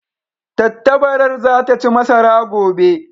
Tattabarar za ta ci masara gobe.